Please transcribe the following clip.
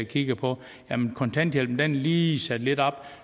kigger på at kontanthjælpen lige er sat lidt op